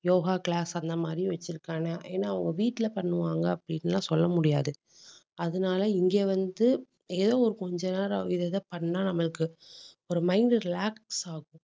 Yoga class அந்த மாதிரி வச்சிருக்காங்க. ஏன்னா அவங்க வீட்டுல பண்ணுவாங்க அப்படின்னு எல்லாம் சொல்ல முடியாது. அதனால இங்க வந்து, ஏதோ ஒரு கொஞ்ச நேரம் இது இதை பண்ணா நம்மளுக்கு ஒரு mind relax ஆகும்